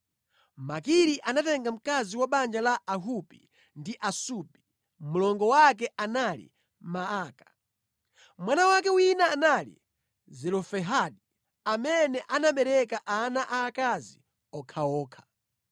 Makiri anatenga mkazi wa banja la Ahupi ndi Asupi. Mlongo wake anali Maaka. Mwana wake wina anali Zelofehadi, amene anabereka ana aakazi okhaokha.